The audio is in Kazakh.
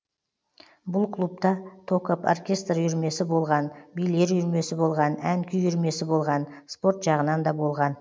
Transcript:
бұл клубта токоб оркестр үйірмесі болған билер үйірмесі болған ән күй үйірмесі болған спорт жағынан да болған